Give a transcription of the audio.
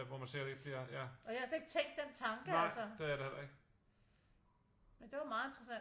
Og jeg havde slet ikke tænkt den tanke altså men det var meget interessant